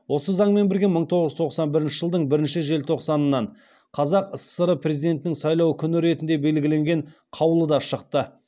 осы заңмен бірге мың тоғыз жүз тоқсан бірінші жылдың бірінші желтоқсанынан қазақ сср президентін сайлау күні ретінде белгіленген қаулы да шықты